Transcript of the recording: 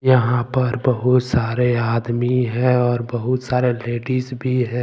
यहां पर बहुत सारे आदमी है और बहुत सारे लेडिस भी है।